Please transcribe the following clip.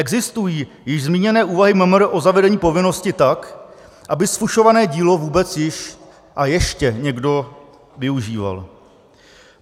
Existují již zmíněné úvahy MMR o zavedení povinnosti tak, aby zfušované dílo vůbec již a ještě někdo využíval.